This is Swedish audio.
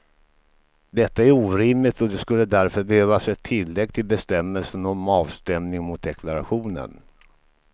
Detta är orimligt och det skulle därför behövas ett tillägg till bestämmelsen om avstämning mot deklarationen.